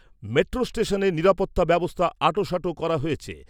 Metro স্টেশনে নিরপত্তা ব্যবস্থা আঁটসাঁট করা হয়েছে।